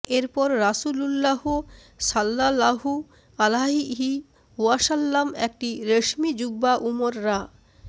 এরপর রাসূলূল্লাহ সাল্লাল্লাহু আলাইহি ওয়াসাল্লাম একটি রেশমী জুব্বা উমর রা